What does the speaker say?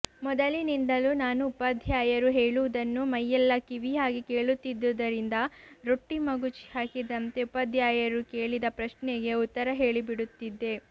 ಮೊದಲಿನಿಂದಲೂ ನಾನು ಉಪಾಧ್ಯಾಯರು ಹೇಳುವುದನ್ನು ಮೈಯೆಲ್ಲ ಕಿವಿಯಾಗಿ ಕೇಳುತ್ತಿದ್ದುದರಿಂದ ರೊಟ್ಟಿ ಮಗುಚಿ ಹಾಕಿದಂತೆ ಉಪಾಧ್ಯಾಯರು ಕೇಳಿದ ಪ್ರಶ್ನೆಗೆ ಉತ್ತರ ಹೇಳಿಬಿಡುತ್ತಿದ್ದೆ